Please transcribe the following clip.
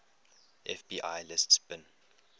fbi lists bin